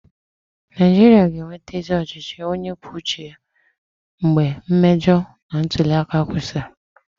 Naijiria ga-enweta ezi ọchịchị onye kwuo uche ya mgbe mmejọ ntuli aka kwụsịrị.